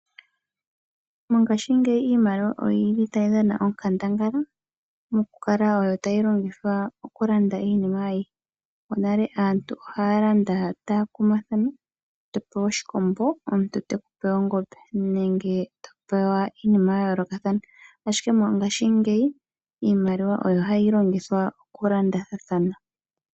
Mongashingeyi iimaliwa oyili tai dhana onkandangala mokukala oyo tayi longithwa okulanda iinima ayihe. Monale aantu ohaa landa taa pingathana, topewa oshikombo omuntu tekupe ongombe. Ashike mongashingeyi